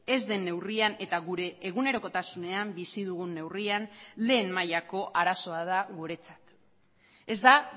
ez den neurrian eta gure egunerokotasunean bizi dugun neurrian lehen mailako arazoa da guretzat ez da